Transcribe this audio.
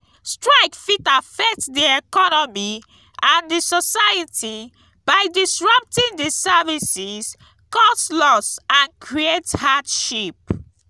strike fit affect di economy and di society by disrupting di services cause loss and create hardship.